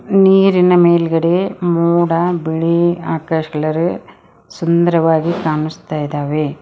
ನೀರಿನ ಮೇಲ್ಗಡೆ ಮೋಡ ಬಿಳಿ ಆಕಾಶ್ ಕಲರು ಸುಂದರವಾಗಿ ಕಾಣಿಸ್ತಾ ಇದಾವೆ.